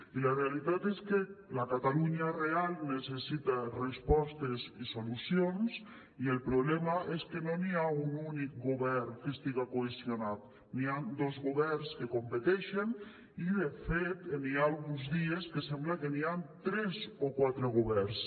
i la realitat és que la catalunya real necessita respostes i solucions i el problema és que no hi ha un únic govern que estigui cohesionat hi ha dos governs que competeixen i de fet hi ha alguns dies que sembla que hi ha tres o quatre governs